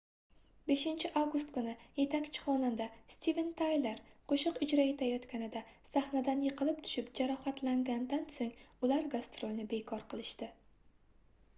5-avgust kuni yetakchi xonanda steven tayler qoʻshiq ijro etayotganida sahnadan yiqilib tushib jarohatlanganidan soʻng ular gastrolni bekor qilishdi